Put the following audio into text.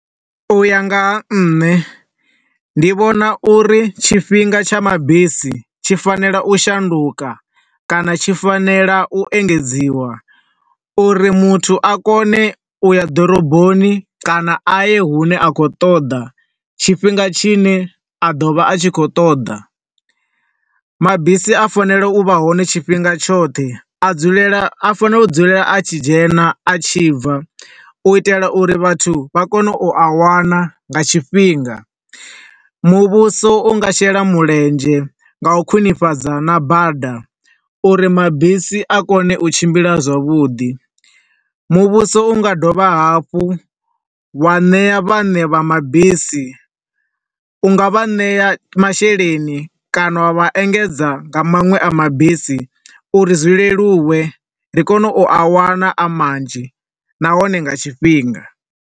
U ya nga ha nṋe, ndi vhona uri tshifhinga tsha mabisi tshi fanela u shunduka, kana tshi fanela u engedziwa, uri muthu a kone u ya ḓoroboni kana a ye hune a khou ṱoḓa tshifhinga tshi ne a ḓo vha a khou ṱoḓa. Mabisi a fanela u vha hone tshifhinga tshoṱhe, a dzulela, a fanela u dzulela a tshi dzhena a tshi bva, u itela uri vhathu vha kone u a wana nga tshifhinga. Muvhuso unga shela mulenzhe nga u khwinifhadza na bada uri mabisi a kone u tshimbila zwavhuḓi. Muvhuso, unga dovha hafhu wa ṋea vhaṋe vha mabisi, u nga vha ṋea masheleni kana wa vha engedza nga maṅwe a mabisi, uri zwi leluwe, ndi kone u a wana a manzhi, nahone nga tshifhinga.